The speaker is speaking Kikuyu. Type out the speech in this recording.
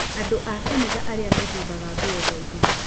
Andũ a kanitha ĩrĩa mehumbaga nguo ndaihu.